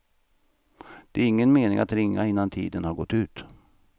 Det är ingen mening att ringa innan tiden har gått ut.